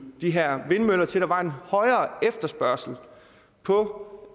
de her vindmøller til der var en højere efterspørgsel på